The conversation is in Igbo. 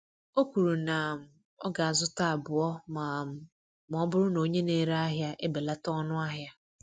Ọ kwuru na um ọ ga-azụta abụọ ma um ọ bụrụ na onye na-ere ahịa ebelata ọnụ ahịa.